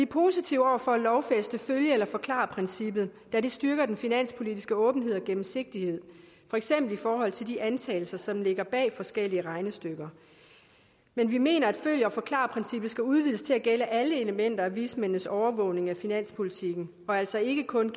positive over for at lovfæste følg eller forklar princippet da det styrker den finanspolitiske åbenhed og gennemsigtighed for eksempel i forhold til de antagelser som ligger bag forskellige regnestykker men vi mener at følg eller forklar princippet skal udvides til at gælde alle elementer af vismændenes overvågning af finanspolitikken og altså ikke kun